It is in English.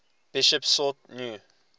bishops sought new